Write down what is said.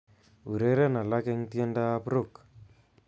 Ureren alak eng tiendoab Rock